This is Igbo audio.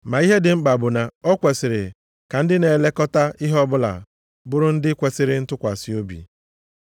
Ma ihe dị mkpa bụ na o kwesiri ka ndị na-elekọta ihe ọbụla bụrụ ndị kwesiri ntụkwasị obi.